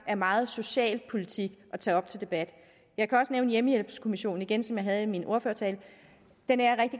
er meget socialpolitik at tage op til debat jeg kan også nævne hjemmehjælpskommissionen igen som jeg havde med i min ordførertale den er